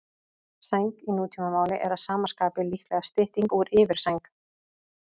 Sæng í nútímamáli er að sama skapi líklega stytting úr yfirsæng.